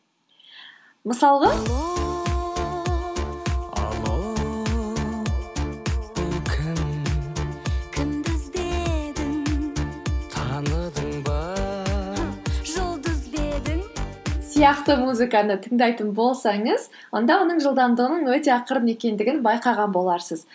мысалға сияқты музыканы тыңдайтын болсаңыз онда оның жылдамдығының өте ақырын екендігін байқаған боларсыз